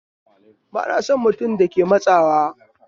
Ba na son mutum da ke mun tsawa